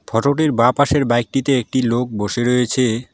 ফটোটির বা পাশের বাইকটিতে একটি লোক বসে রয়েছে।